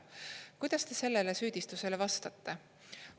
Kuidas sellele süüdistusele vastate?